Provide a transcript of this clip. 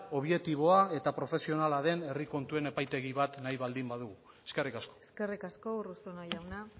objektiboa eta profesionala den herri kontuen epaitegi bat nahi baldin badugu eskerrik asko eskerrik asko urruzuno jauna